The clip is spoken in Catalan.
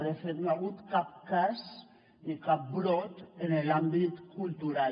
de fet no hi ha hagut cap cas ni cap brot en l’àmbit cultural